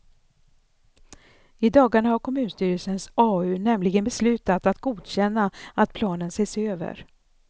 I dagarna har kommunstyrelsens au nämligen beslutat att godkänna att planen ses över.